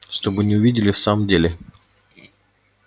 чтобы не увидели в самом деле